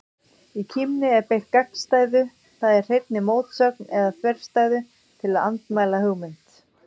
Í kímni er beitt gagnstæðu, það er hreinni mótsögn eða þverstæðu, til að andmæla hugmynd.